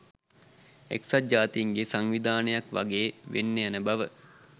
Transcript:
එක්සත් ජාතීන්ගේ සංවිධානයක් වගේ වෙන්න යන බව